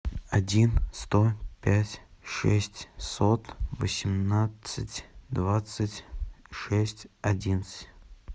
один сто пять шестьсот восемнадцать двадцать шесть одиннадцать